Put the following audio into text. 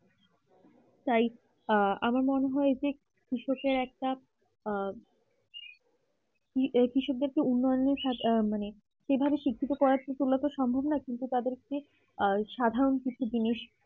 তাই আহ আমার মনে হয় যে কৃষকের একটা আহ কৃষকদের কে উন্নয়ন সাথে মানে সেভাবে শিক্ষিত করে তোলা তো সম্ভব নয় কিন্তু তাদের কে সাধারণ কিছু জিনিস